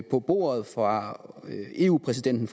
på bordet fra eu præsidenten